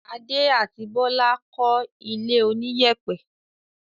Adé àti Bólú kọ́ ilé oníyẹ̀pẹ̀.